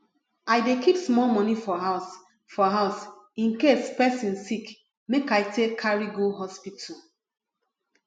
i dey keep small money for house for house in case pesin sick make i take carry go hospital